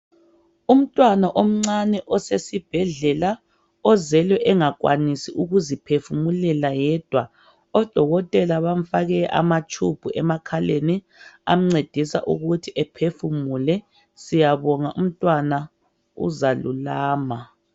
Umntwana omncane osesibhedlela ozelwe engakwanisi ukuziphefumulela yedwa . Odokotela bamfake amatshubhu emakhaleni amncedisa ukuthi ephefumule . Siyabonga umntwana uzalulama .